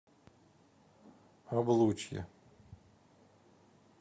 облучье